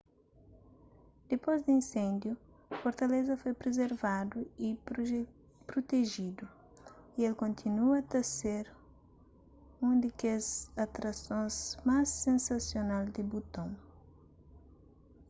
dipôs di insêndiu fortaleza foi prizervadu y prutejidu y el kontinua ta ser un di kes atrasons más sensasional di buton